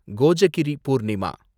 Kojagiri Purnima